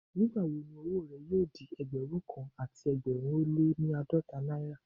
Nígbà wo ni owó rẹ yóò di Ẹgbẹ̀rún kan àti ẹgbẹ̀rin ó lé ní àádọ́ta náírà?